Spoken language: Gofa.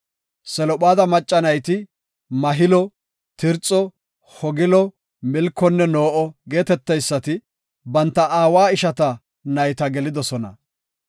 Selophaada macca nayti, Mahilo, Tirxo, Hoglo, Milkonne No7o geeteteysati banta aawa ishata nayta gelidosona.